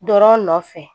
Dɔrɔn nɔfɛ